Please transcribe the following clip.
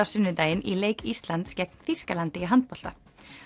sunnudaginn í leik Íslands gegn Þýskalandi í handbolta